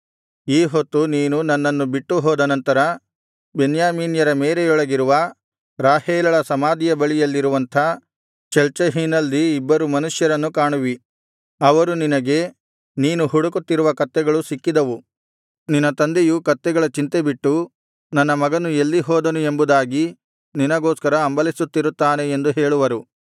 ಈ ಹೊತ್ತು ನೀನು ನನ್ನನ್ನು ಬಿಟ್ಟುಹೋದ ನಂತರ ಬೆನ್ಯಾಮೀನ್ಯರ ಮೇರೆಯೊಳಗಿರುವ ರಾಹೇಲಳ ಸಮಾಧಿಯ ಬಳಿಯಲ್ಲಿರುವಂಥ ಚೆಲ್ಚಹಿನಲ್ಲಿ ಇಬ್ಬರು ಮನುಷ್ಯರನ್ನು ಕಾಣುವಿ ಅವರು ನಿನಗೆ ನೀನು ಹುಡುಕುತ್ತಿರುವ ಕತ್ತೆಗಳು ಸಿಕ್ಕಿದವು ನಿನ್ನ ತಂದೆಯು ಕತ್ತೆಗಳ ಚಿಂತೆಬಿಟ್ಟು ನನ್ನ ಮಗನು ಎಲ್ಲಿ ಹೋದನು ಎಂಬುದಾಗಿ ನಿನಗೋಸ್ಕರ ಹಂಬಲಿಸುತ್ತಿರುತ್ತಾನೆ ಎಂದು ಹೇಳುವರು